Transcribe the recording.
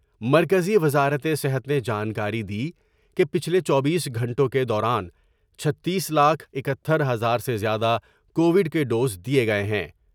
مرکزی وزارت صحت نے جانکاری دی کہ پچھلے چوبیس گھنٹوں کے دوران چھتیس لاکھ اکہتر ہزار سے زیادہ کووڈ کے ڈوز دیے گئے ہیں ۔